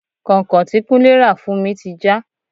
Kọ́nkọ̀n tí kúnlé ra fún mi ti já.